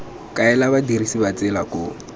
kaela badirisi ba tsela koo